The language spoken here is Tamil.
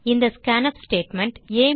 இந்த ஸ்கான்ஃப் ஸ்டேட்மெண்ட்